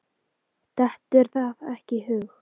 Dettur það ekki í hug.